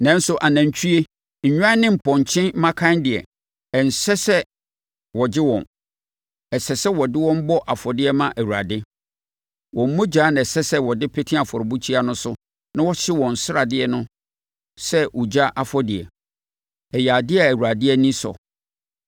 “Nanso anantwie, nnwan ne mpɔnkye mmakan deɛ, ɛnsɛ sɛ wɔgye wɔn. Ɛsɛ sɛ wɔde wɔn bɔ afɔdeɛ ma Awurade. Wɔn mogya na ɛsɛ sɛ wɔde pete afɔrebukyia no so na wɔhye wɔn sradeɛ no sɛ ogya afɔdeɛ. Ɛyɛ adeɛ a Awurade ani sɔ.